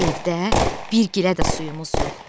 Evdə bir gilə də suyumuz yoxdur.